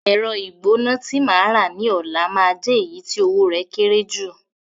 Ẹ̀rọ ìgbóná tí màá rà ní ọ̀la máa jẹ́ èyí tí owó rẹ̀ kéré jù